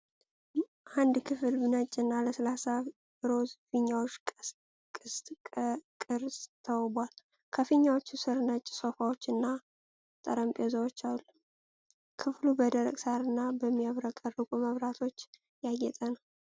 አንድ ክፍል በነጭ እና በለስላሳ ሮዝ ፊኛዎች ቅስት ቅርጽ ተውቧል። ከፊኛዎቹ ስር ነጭ ሶፋዎች እና ጠረጴዛዎች አሉ። ክፍሉ በደረቅ ሣርና በሚያብረቀርቁ መብራቶች ያጌጠ ነው።